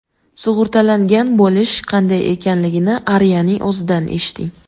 Sug‘urtalangan bo‘lish qanday ekanligini Aria’ning o‘zidan eshiting!